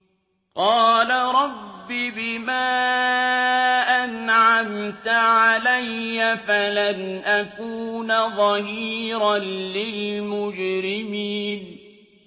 قَالَ رَبِّ بِمَا أَنْعَمْتَ عَلَيَّ فَلَنْ أَكُونَ ظَهِيرًا لِّلْمُجْرِمِينَ